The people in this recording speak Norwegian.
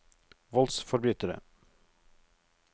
voldsforbrytere